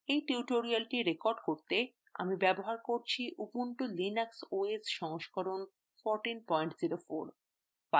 এই tutorial record করতে আমি ব্যবহার করছি ubuntu linux os সংস্করণ 1404